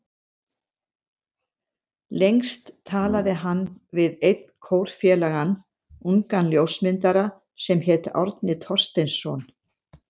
Lengst talaði hann við einn kórfélagann, ungan ljósmyndara sem hét Árni Thorsteinsson.